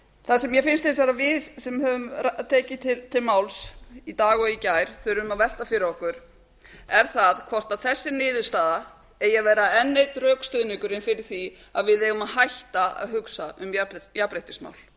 það sem mér finnst hins vegar að við sem höfum tekið til máls í dag og í gær þurfum að velta fyrir okkur er það hvort þessi niðurstaða eigi að vera enn einn rökstuðningurinn fyrir því að við eigum að hætta að hugsa um jafnréttismál